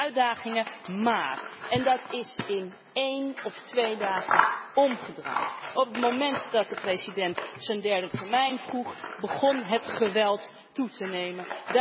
Er waren wat uitdagingen, maar en dat is in één of twee dagen omgedraaid op het moment dat de president zijn derde termijn vroeg, begon het geweld toe te nemen.